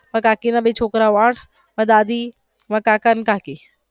મારા કાકી ના બે છોકરાઓ આઠ મારા દાદી અને કાકા ને કાકી.